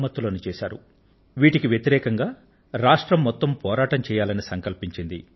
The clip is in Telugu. బాల్య వివాహాలకు వరకట్న దురాచారాలు మొదలైన చెడు పద్ధతులకు వ్యతిరేకంగా మొత్తం రాష్ట్రం పోరాటం చెయ్యాలని సంకల్పించింది